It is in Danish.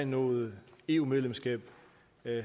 noget eu medlemskab